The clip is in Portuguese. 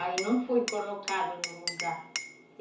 Aí não foi colocado no lugar.